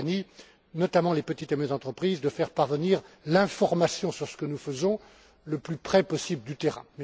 Tajani notamment, pour les petites et moyennes entreprises, de faire parvenir l'information sur ce que nous faisons le plus près possible du terrain.